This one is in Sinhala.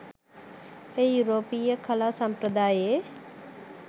එය යුරෝපීය කලා සම්ප්‍රදායේ